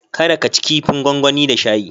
Kada ka ci kifin gwangwani da shayi.